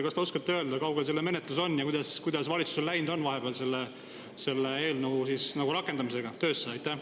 Kas te oskate öelda, kui kaugel selle menetlus on ja kuidas on valitsusel vahepeal läinud selle eelnõu töösse rakendamisega?